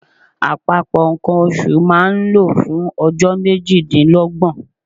Àpapọ̀ nǹkan oṣù máa ń lọ fún ọjọ́ méjìdínlọ́gbọ̀n.